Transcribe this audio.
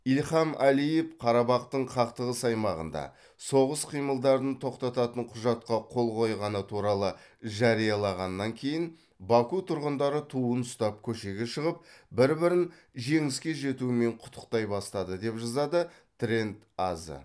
ильхам алиев қарабақтың қақтығыс аймағында соғыс қимылдарын тоқтататын құжатқа қол қойғаны туралы жариялағаннан кейін баку тұрғындары туын ұстап көшеге шығып бір бірін жеңіске жетумен құттықтай бастады деп жазады тренд азэ